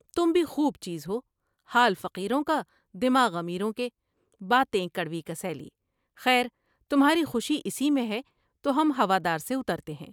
تم بھی خوب چیز ہو ، حال فقیروں کا ، دماغ امیروں کے ، باتیں کڑ وی کسیلی ، خیر تمھاری خوشی اس میں ہے تو ہم ہوا دار سے اترتے ہیں ۔